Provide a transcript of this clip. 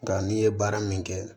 Nka n'i ye baara min kɛ